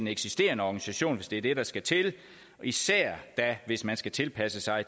eksisterende organisation hvis det er det der skal til især da hvis man skal tilpasse sig